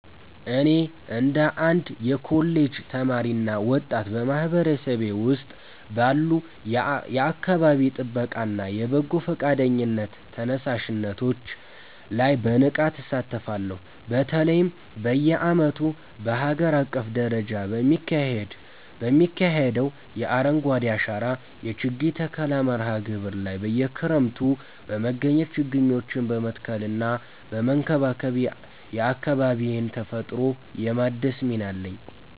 እኔ እንደ አንድ የኮሌጅ ተማሪና ወጣት፣ በማህበረሰቤ ውስጥ ባሉ የአካባቢ ጥበቃና የበጎ ፈቃደኝነት ተነሳሽነቶች ላይ በንቃት እሳተፋለሁ። በተለይም በየዓመቱ በአገር አቀፍ ደረጃ በሚካሄደው የ“አረንጓዴ አሻራ” የችግኝ ተከላ መርሃ ግብር ላይ በየክረምቱ በመገኘት ችግኞችን በመትከልና በመንከባከብ የአካባቢዬን ተፈጥሮ የማደስ ሚና አለኝ።